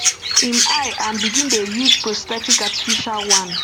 im um eye um and begin dey use prosthetic artificial one